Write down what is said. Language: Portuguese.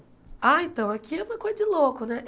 Ah, então, aqui é uma coisa de louco, né?